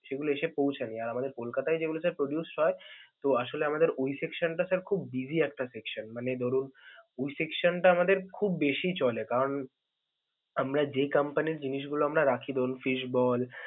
সেগুলো এসে পৌছায়নি. আর আমাদের কলকাতায় যেগুলো sir produce হয় তো আসলে আমাদের ওই section টা sir খুব busy একটা section মানে ধরুন, ওই section টা আমাদের খুব বেশি চলে কারণ আমরা যেই company জিনিসগুলো আমরা রাখি ধরুন fish ball.